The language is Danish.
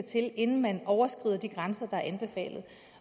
til inden man overskrider de grænser der er anbefalet